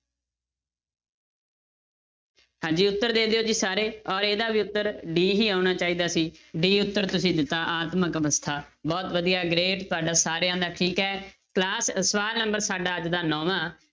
ਹਾਂਜੀ ਉੱਤਰ ਦੇ ਦਿਓ ਜੀ ਸਾਰੇ ਔਰ ਇਹਦਾ ਵੀ ਉੱਤਰ d ਹੀ ਆਉਣਾ ਚਾਹੀਦਾ ਸੀ d ਉੱਤਰ ਤੁਸੀਂ ਦਿੱਤਾ ਆਤਮਕ ਅਵਸਥਾ ਬਹੁੁਤ ਵਧੀਆ great ਤੁਹਾਡਾ ਸਾਰਿਆਂ ਦਾ ਠੀਕ ਹੈ class ਸਵਾਲ number ਸਾਡਾ ਅੱਜ ਦਾ ਨੋਵਾਂ